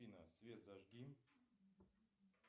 афина свет зажги